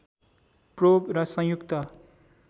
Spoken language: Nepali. प्रोब र संयुक्त